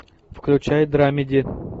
включай драмеди